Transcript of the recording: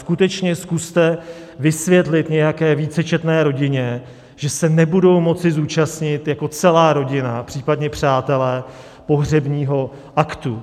Skutečně zkuste vysvětlit nějaké vícečetné rodině, že se nebudou moci zúčastnit jako celá rodina, případně přátelé, pohřebního aktu.